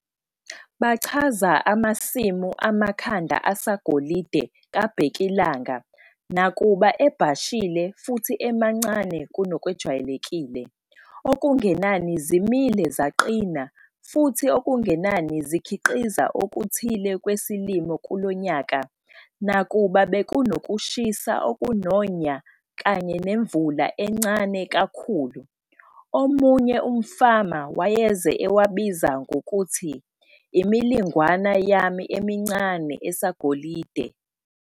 Bachaza amasimu amakhanda asagolide kabhekilanga nakuba ebhashile futhi emancane kunokwejwayelekile, okungenani zimile zaqina futhi okungenani zikhiqiza okuthile kwesilimo kulonyaka, nakuba bekunoshisa okunonya kanye nemvula encane kakhulu. Omunye umfama wayeze ewabiza ngokuthi- 'Imilingwana yami emincane esagolide!'